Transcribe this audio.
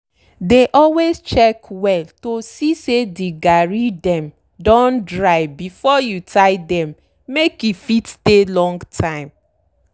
dey always check well to see say de garri dem don dry before you tie dem make e fit stay long time.